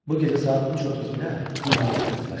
Bu gecə saat 3:32-də Queen Mary ilə rastlaşdıq.